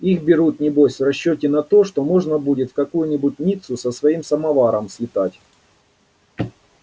их берут небось в расчёте на то что можно будет в какую-нибудь ниццу со своим самоваром слетать